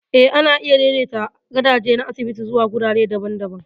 Eh, ana iya daidaita gadaje na asibiti zuwa wurare daban-daban.